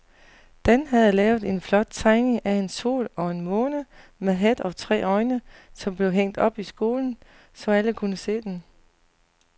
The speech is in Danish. Dan havde lavet en flot tegning af en sol og en måne med hat og tre øjne, som blev hængt op i skolen, så alle kunne se den.